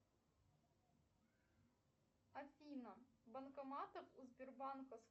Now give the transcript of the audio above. афина банкоматы у сбербанка